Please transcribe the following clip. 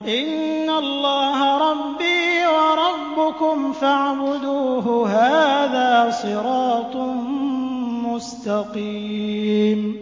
إِنَّ اللَّهَ رَبِّي وَرَبُّكُمْ فَاعْبُدُوهُ ۗ هَٰذَا صِرَاطٌ مُّسْتَقِيمٌ